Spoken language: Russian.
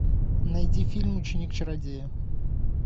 найди фильм ученик чародея